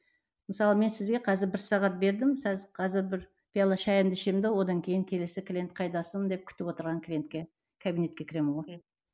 мысалы мен сізге қазір бір сағат бердім қазір бір пиала шайымды ішемін де одан кейін келесі клиент қайдасың деп күтіп отырған клинетке кабинетке кіремін ғой